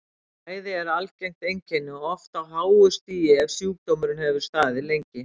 Mæði er algengt einkenni og oft á háu stigi ef sjúkdómurinn hefur staðið lengi.